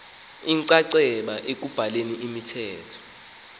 inxaxheba ekubhaleni imithetho